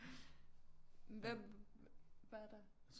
Hvad var der